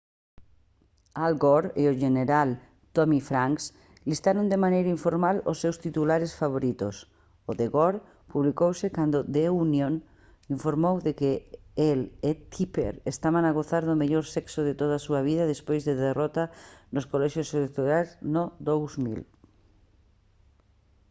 al gore e o xeneral tommy franks listaron de maneira informal os seus titulares favoritos o de gore publicouse cando the onion informou de que el e tipper estaban a gozar do mellor sexo de toda a súa vida despois da derrota nos colexios electorais no 2000